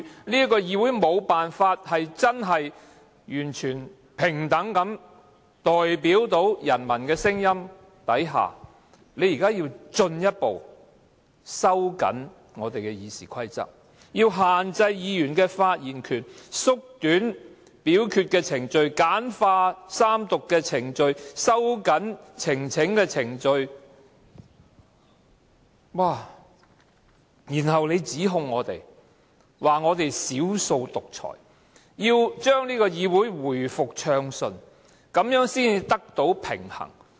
這個議會在無法真正完全平等地代表人民的聲音下，現在還要進一步收緊《議事規則》，限制議員的發言權、縮短表決的程序、簡化三讀的程序、收緊呈請的程序，然後還指控我們是"少數獨裁"，要將議會回復暢順，才可以得到平衡。